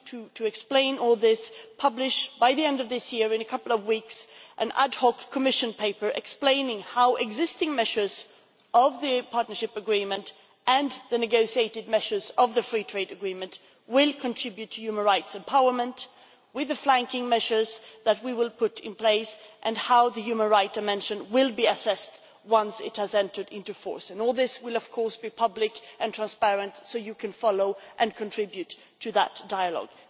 To explain all this, we will by the end of this year in a couple of weeks publish an ad hoc Commission paper explaining how the existing measures of the partnership agreement and the negotiated measures of the free trade agreement will contribute to human rights empowerment with the flanking measures that we will put in place and how the human rights I mentioned will be assessed once the latter agreement has entered into force. All this will, of course, be public and transparent so that you can follow and contribute to the dialogue.